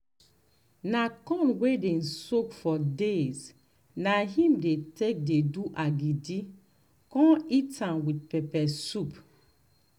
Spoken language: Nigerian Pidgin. na corn wey dem soak for days na im dey take um dey do agidi con eat am with pepper soup um